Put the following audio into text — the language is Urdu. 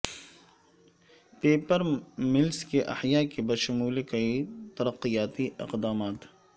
پیپر ملس کے احیاء کے بشمول کئی ترقیاتی اقدامات